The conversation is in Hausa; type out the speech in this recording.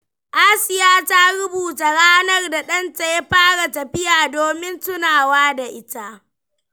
Asiya ta rubuta ranar da ɗanta ya fara tafiya domin tunawa da ita.